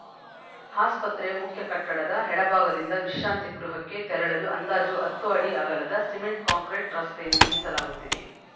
ಆಸ್ಪತ್ರೆ ಮುಖ್ಯ ಕಟ್ಟಡದ ಎಡಭಾಗದಿಂದ ವಿಶ್ರಾಂತಿ ಗೃಹಕ್ಕೆ ತೆರಳಲು ಅಂದಾಜು ಹತ್ತು ಅಡಿ ಅಗಲದ ಸಿಮೆಂಟ್‌ ಕಾಂಕ್ರೀಟ್‌ ರಸ್ತೆ ನಿರ್ಮಿಸಲಾಗುತ್ತಿದೆ